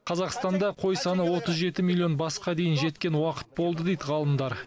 қазақстанда қой саны отыз жеті миллион басқа дейін жеткен уақыт болды дейді ғалымдар